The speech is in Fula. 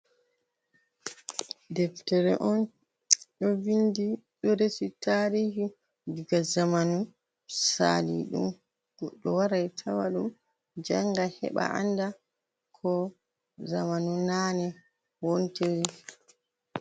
Deftere on ɗo vindi, ɗo resi taarihi daga zamanu saaliɗum. Goɗɗo warai tawaɗum janga, heɓa anda ko zamanu naane wontiri.